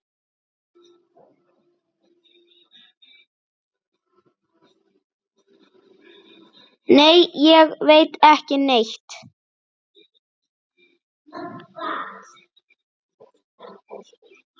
Nei, ég veit ekki neitt.